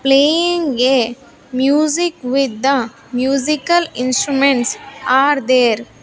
Playing a music with the musical instruments are there.